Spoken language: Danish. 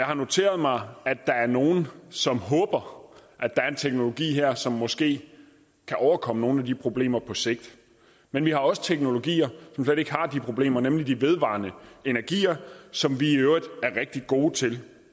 her noteret mig at der er nogle som håber at der er en teknologi her som måske kan overkomme nogle af de problemer på sigt men vi har også teknologier som slet ikke har de problemer nemlig de vedvarende energier som vi i øvrigt er rigtig gode til